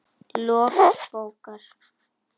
Lok bókar